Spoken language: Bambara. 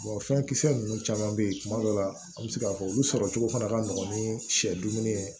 fɛn kisɛ nunnu caman be yen kuma dɔw la an be se k'a fɔ olu sɔrɔ cogo fana ka nɔgɔ ni sɛ dumuni ye